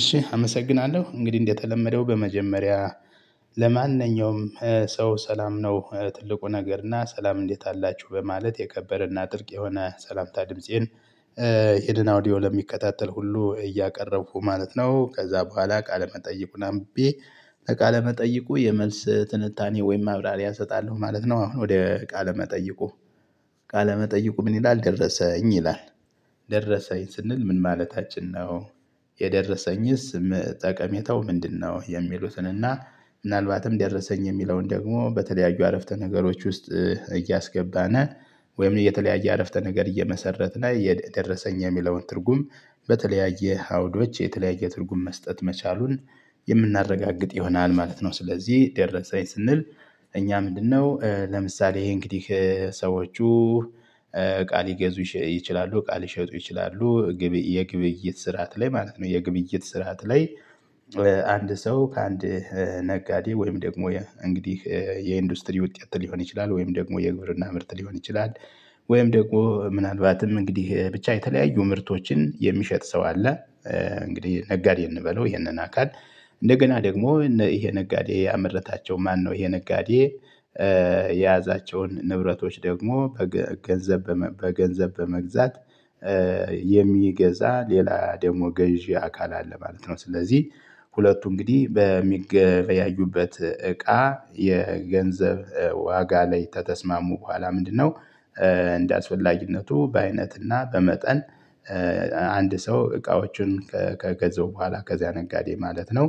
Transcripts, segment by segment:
እሺ አመሰግናለሁ እንግዲህ እንደተለመደው በመጀመሪያ ለማንኛውም ሰው ሰላም ነው ትልቁ ነገር እና ሰላም እንዴት አላችሁ በማለት የከበረና ትልቅ የሆነ ሰላምታ ድምፄን ይሄንን አውዲዮ ለሚከታተል ሁሉ እያቀረቡኩ ማለት ነው። ከዛ በኋላ ቃለ መጠይቁን አምብቤ ቃለ መጠይቁ የመልስ ትንታኔ ወይም ማብራሪያ እሰጣለሁ ማለት ነው። አሁን ወደ ቃለመጠይቁ ቃለመጠይቁ ምን ይላል? ደረሰኝ ይላል። ደረሰኝ ስንል ምን ማለታችን ነው? የደረሰኝስ ጠቀሜታው ምንድነው? የሚሉትን እና ምናልባትም ደረሰኝ የሚለውን ደግሞ በተለያዩ አረፍተ ነገሮች ውስጥ እያስገባን ወይም የተለያየ አረፍተ ነገር እየመሰረትን የደረሰኝ የሚለውን ትርጉም በተለያየ አውዶች የተለያየ ትርጉም መስጠት መቻሉን የምናረጋግጥ ይሆናል ማለት ነው። ስለዚህ ደረሰኝ ስንል እኛ ምንድነው? ለምሳሌ ይሄ እንግዲህ ሰዎቹ እቃ ሊገዙ ይችላሉ እቃ ሊሸጡ ይችላሉ። የግብይት ስርዓት ላይ ማለት ነው የግብይት ስርዓት ላይ። አንድ ሰው ከአንድ ነጋዴ ወይም ደግሞ እንግዲህ የኢንዱስትሪ ውጤት ሊሆን ይችላል ወይም ደግሞ የግብርና ምርት ሊሆን ይችላል። ወይም ደግሞ ምናልባትም እንግዲህ ብቻ የተለያዩ ምርቶችን የሚሸጥ ሰው አለ። እንግዲህ ነጋዴ እንበለው ይሄንን አካል እንደገና ደግሞ እነ ይሄ ነጋዴ ያመረታቸው ማነው ይሄ ነጋዴ የያዛቸውን ንብረቶች ደግሞ በገንዘብ በመግዛት የሚገዛ ሌላ ደግሞ ገዢ አካል አለ ማለት ነው። ስለዚህ ሁለቱ እንግዲህ በሚገበያዩበት እቃ የገንዘብ ዋጋ ላይ ከተስማሙ በኋላ ምንድነው? እንደ አስፈላጊነቱ በአይነትና በመጠን አንድ ሰው እቃዎቹን ከገዛው በኋላ ከዚያ ነጋዴ ማለት ነው።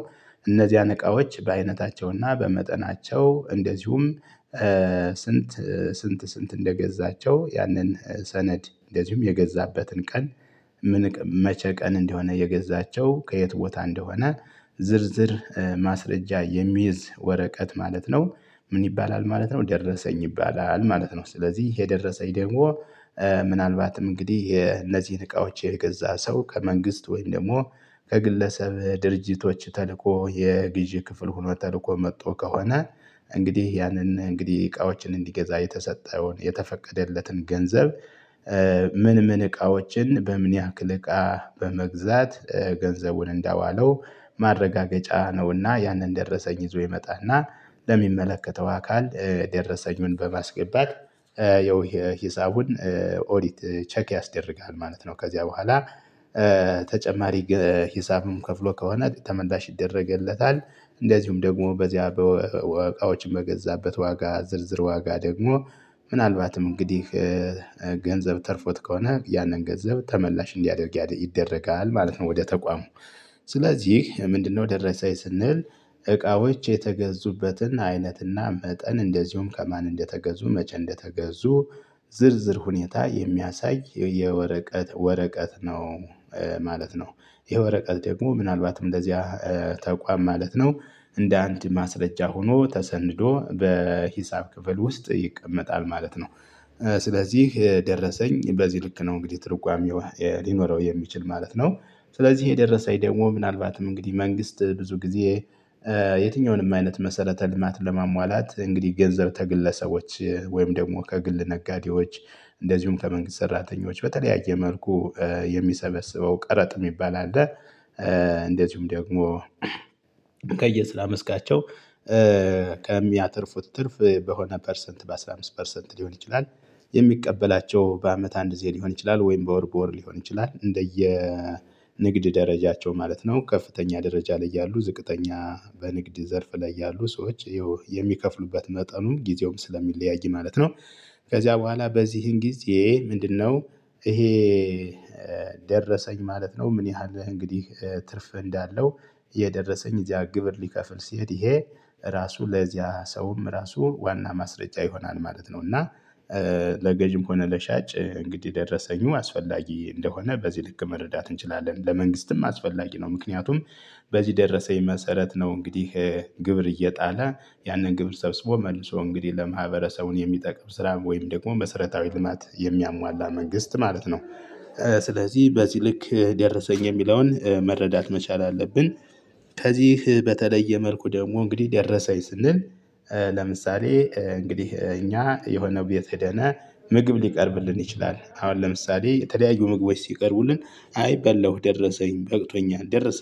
እነዚያን እቃዎች በአይነታቸውና በመጠናቸው እንደዚሁም ስንት ስንት ስንት እንደገዛቸው ያንን ሰነድ እንደዚሁም የገዛበትን ቀን መቼ ቀን እንደሆነ የገዛቸው ከየት ቦታ እንደሆነ ዝርዝር ማስረጃ የሚይዝ ወረቀት ማለት ነው። ምን ይባላል ማለት ነው። ደረሰኝ ይባላል ማለት ነው። ስለዚህ ይሄ ደረሰኝ ደግሞ ምናልባትም እንግዲህ እነዚህን እቃዎች የገዛ ሰው ከመንግስት ወይም ደግሞ ከግለሰብ ድርጅቶች ተልኮ የግዢ ክፍል ሆኖ ተልኮ መጥቶ ከሆነ። እንግዲህ ያንን እንግዲህ እቃዎችን እንዲገዛ የተሰጠውን የተፈቀደለትን ገንዘብ ምን ምን እቃዎችን በምን ያክል እቃ በመግዛት ገንዘቡን እንዳዋለው። ማረጋገጫ ነውና ያንን ደረሰኝ ይዞ ይመጣና ለሚመለከተው አካል ደረሰኙን በማስገባት ያው የሂሳቡን ኦዲት ቼክ ያስደርጋል ማለት ነው። ከዚያ በኋላ ተጨማሪ ሂሳብም ከፍሎ ከሆነ ተመላሽ ይደረግለታል። እንደዚሁም ደግሞ በዚያ እቃዎች በገዛበት ዋጋ ዝርዝር ዋጋ ደግሞ ምናልባትም እንግዲህ ገንዘብ ተርፎት ከሆነ ያንን ገንዘብ ተመላሽ እንዲያደርግ ይደረጋል ማለት ነው። ወደ ተቋሙ ስለዚህ ምንድነው ደረሰኝ ስንል እቃዎች የተገዙበትን አይነትና መጠን እንደዚሁም ከማን እንደተገዙ መቼ እንደተገዙ ዝርዝር ሁኔታ የሚያሳይ የወረቀት ወረቀት ነው። ማለት ነው። ይሄ ወረቀት ደግሞ ምናልባትም እንደዚያ ተቋም ማለት ነው እንደ አንድ ማስረጃ ሆኖ ተሰንዶ በሂሳብ ክፍል ውስጥ ይቀመጣል ማለት ነው። ስለዚህ ደረሰኝ በዚህ ልክ ነው እንግዲህ ትርጓሜው ሊኖረው የሚችል ማለት ነው። ስለዚህ ይሄ ደረሰኝ ደግሞ ምናልባትም እንግዲህ መንግስት ብዙ ጊዜ የትኛውንም አይነት መሰረተ ልማት ለማሟላት እንግዲህ ገንዘብ ከግለሰቦች ወይም ደግሞ ከግል ነጋዴዎች እንደዚሁም ከመንግስት ሰራተኞች በተለያየ መልኩ የሚሰበስበው ቀረጥ የሚባል አለ። እንደዚሁም ደግሞ ከየስራ መስካቸው ከሚያተርፉት ትርፍ በሆነ ፐርሰንት በአስራ አምስት ፐርሰንት ሊሆን ይችላል። የሚቀበላቸው በአመት አንድ ጊዜ ሊሆን ይችላል ወይም በወር በወር ሊሆን ይችላል እንደየ ንግድ ደረጃቸው ማለት ነው ከፍተኛ ደረጃ ላይ ያሉ ዝቅተኛ በንግድ ዘርፍ ላይ ያሉ ሰዎች ይኸው የሚከፍሉበት መጠኑም ጊዜውም ስለሚለያይ ማለት ነው። ከዚያ በኋላ በዚህን ጊዜ ምንድነው? ይሄ ደረሰኝ ማለት ነው። ምን ያህል እንግዲህ ትርፍ እንዳለው። የደረሰኝ እዚያ ግብር ሊከፍል ሲሄድ ይሄ ራሱ ለዚያ ሰውም ራሱ ዋና ማስረጃ ይሆናል ማለት ነው። እና ለገዢም ሆነ ለሻጭ እንግዲህ ደረሰኙ አስፈላጊ እንደሆነ በዚህ ልክ መረዳት እንችላለን ለመንግስትም አስፈላጊ ነው። ምክንያቱም በዚህ ደረሰኝ መሰረት ነው እንግዲህ ግብር እየጣለ ያንን ግብር ሰብስቦ መልሶ እንግዲህ ለማህበረሰቡን የሚጠቅም ስራ ወይም ደግሞ መሰረታዊ ልማት የሚያሟላ መንግስት ማለት ነው። ስለዚህ በዚህ ልክ ደረሰኝ የሚለውን መረዳት መቻል አለብን። ከዚህ በተለየ መልኩ ደግሞ እንግዲህ ደረሰኝ ስንል ለምሳሌ እንግዲህ እኛ የሆነ ቤት ሄደን ምግብ ሊቀርብልን ይችላል አሁን ለምሳሌ የተለያዩ ምግቦች ሲቀርቡልን አይ በለው ደረሰኝ በቅቶኛል ደረሰኝ